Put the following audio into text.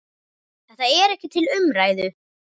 Þetta er ekki til umræðu.